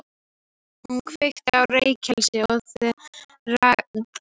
Hún kveikir á reykelsi og dregur fyrir gluggana.